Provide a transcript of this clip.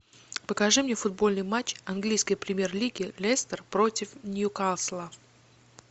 покажи мне футбольный матч английской премьер лиги лестер против ньюкасла